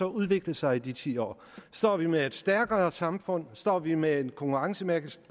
udviklet sig i de ti år står vi med et stærkere samfund står vi med en konkurrencemæssigt